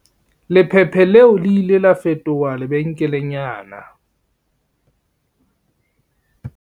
Lephephe leo le ile la fetoha lebenkelenyana.